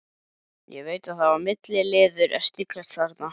Ég veit að það var milliliður að sniglast þarna.